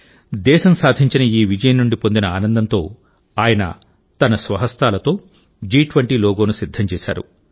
దేశం సాధించిన ఈ విజయం నుండి పొందిన ఆనందంతో ఆయన తన స్వహస్తాలతో జి20 లోగోను సిద్ధం చేశారు